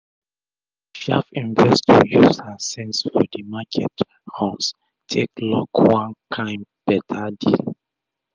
d sharp investor use her sense for d market runs take lock one kain better deal